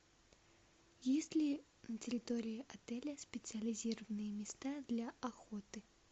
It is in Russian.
есть ли на территории отеля специализированные места для охоты